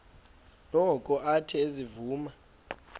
noko athe ezivuma